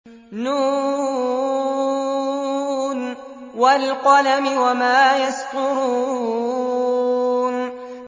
ن ۚ وَالْقَلَمِ وَمَا يَسْطُرُونَ